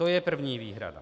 To je první výhrada.